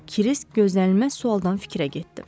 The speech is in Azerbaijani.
Kirisk gözlənilməz sualdan fikrə getdi.